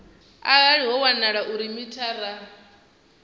arali ho wanala uri mithara